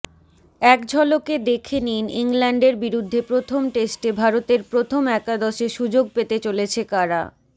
এক ঝলকে দেখে নিন ইংল্যান্ডের বিরুদ্ধে প্রথম টেস্টে ভারতের প্রথম একাদশে সুযোগ পেতে চলেছে কারা